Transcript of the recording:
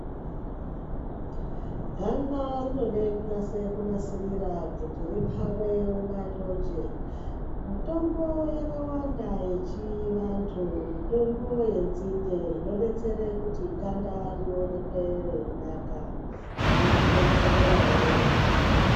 Ganda rinode kunase kunasirira kuti ripfave unga thonje. Mitombo yakawanda yechivantu, mitombo yenzinde inodetsere kuti ganda rionekwe reinaka reitsvedzererawo.